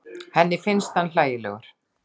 Henni finnst hann hlægilegur.